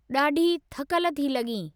डा॒ढी थकल थी लगीं॒ ?